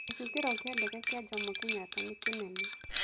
Gĩcukĩro kĩa ndege kĩa jomo Kenyatta nĩ kĩnene.